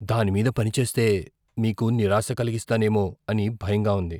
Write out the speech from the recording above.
దాని మీద పని చేస్తే, మీకు నిరాశ కలిగిస్తానేమో అని భయంగా ఉంది.